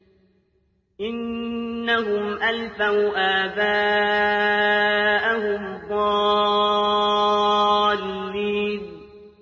إِنَّهُمْ أَلْفَوْا آبَاءَهُمْ ضَالِّينَ